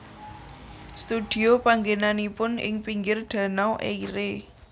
Studio panggènanipun ing pinggir Danau Eire